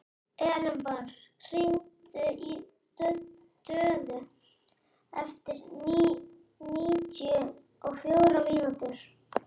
Elenborg, hringdu í Döðu eftir níutíu og fjórar mínútur.